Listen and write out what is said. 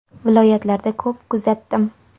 Viloyatlarda ko‘p kuzatdim.